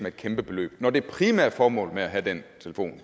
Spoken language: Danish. et kæmpe beløb når det primære formål med at have den telefon